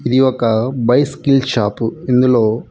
ఇది ఒక bicycle shop ఇందులో--